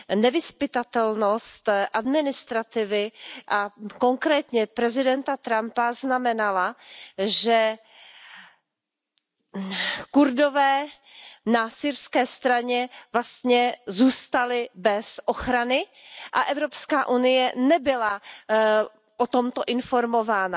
Nevyzpytatelnost administrativy a konkrétně prezidenta Trumpa znamenala, že Kurdové na syrské straně zůstali vlastně bez ochrany a Evropská unie nebyla o tomto informována.